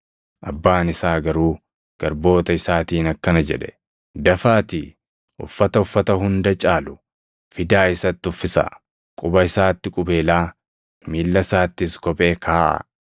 “Abbaan isaa garuu garboota isaatiin akkana jedhe; ‘Dafaatii uffata uffata hunda caalu fidaa isatti uffisaa; quba isaatti qubeelaa, miilla isaattis kophee kaaʼaa.